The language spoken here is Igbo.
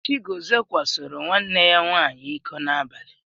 Chigọzie kwasoro nwanne ya nwaanyị iko n'abalị.